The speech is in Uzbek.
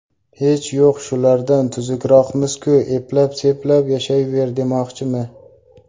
Hech yo‘q shulardan tuzukroqmiz-ku, eplab-seplab yashayver, demoqchimi?